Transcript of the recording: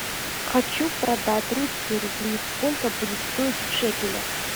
хочу продать русские рубли сколько будет стоить в шекелях